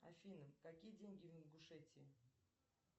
афина какие деньги в ингушетии